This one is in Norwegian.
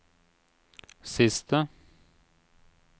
siste